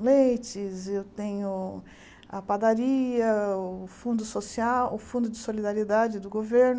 leites, e eu tenho a padaria, o fundo social, o fundo de solidariedade do governo.